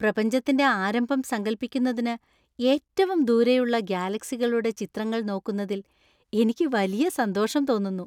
പ്രപഞ്ചത്തിന്‍റെ ആരംഭം സങ്കൽപ്പിക്കുന്നതിന് ഏറ്റവും ദൂരെയുള്ള ഗാലക്സികളുടെ ചിത്രങ്ങൾ നോക്കുന്നതിൽ എനിക്ക് വലിയ സന്തോഷം തോന്നുന്നു.